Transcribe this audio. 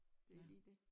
Det lige dét